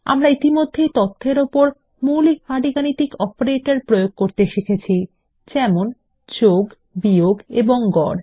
আমরা ইতিমধ্যেই মৌলিক পাটীগণিত অপারেটরদের প্রযোগ করতে শিখেছি যেমন তথ্য যোগ বিয়োগ এবং গড়